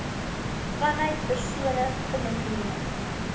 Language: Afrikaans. vanuit persone genomineer